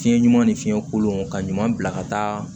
Fiɲɛ ɲuman ni fiɲɛ kolon ka ɲuman bila ka taa